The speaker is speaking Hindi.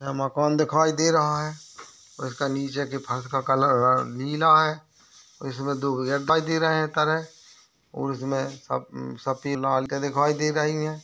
यहा मकान दिखाई दे रहा है उसका नीचे का फर्श का कलर नीला है इसमे दो और इसमे सब-सबकी लाल की दिखाई दे रही है।